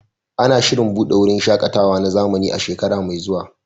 Ana shirin buɗe wurin shaƙatawa na zamani a shekara mai zuwa.